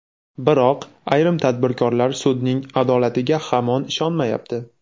Biroq ayrim tadbirkorlar sudning adolatiga hamon ishonmayapti.